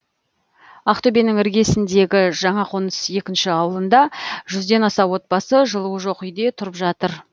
ақтөбенің іргесіндегі жаңақоныс екінші ауылында жүзден аса отбасы жылуы жоқ үйде тұрып жатыр